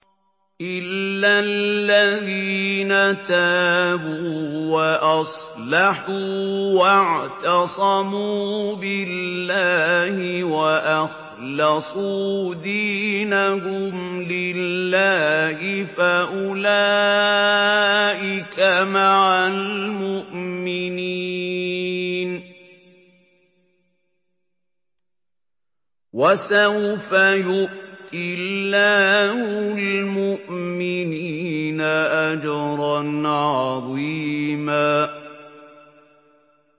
إِلَّا الَّذِينَ تَابُوا وَأَصْلَحُوا وَاعْتَصَمُوا بِاللَّهِ وَأَخْلَصُوا دِينَهُمْ لِلَّهِ فَأُولَٰئِكَ مَعَ الْمُؤْمِنِينَ ۖ وَسَوْفَ يُؤْتِ اللَّهُ الْمُؤْمِنِينَ أَجْرًا عَظِيمًا